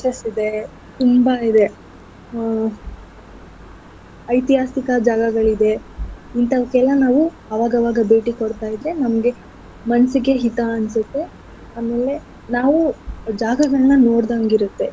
ಇದೆ ತುಂಬಾ ಇದೆ ಹ್ಮ್‌ ಐತಿಹಾಸಿಕ ಜಾಗಗಳಿದೆ ಇಂಥವಕ್ಕೆಲ್ಲ ನಾವು ಅವಾಗವಾಗ ಭೇಟಿ ಕೊಡ್ತಾ ಇದ್ರೆ ನಮ್ಗೆ ಮನ್ಸಿಗೆ ಹಿತ ಅನ್ಸತ್ತೆ ಆಮೇಲೆ ನಾವು ಜಾಗಗಳನ್ನ ನೋಡ್ದಂಗಿರತ್ತೆ.